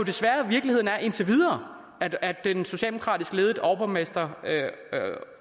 indtil videre at at den socialdemokratiske overborgmester